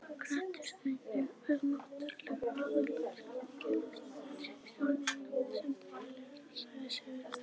Kratisminn er náttúrlega aðgengilegasta stjórnmálastefna sem til er, sagði Sigurður.